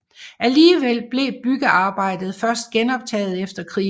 Alligevel blev byggearbejdet først genoptaget efter krigen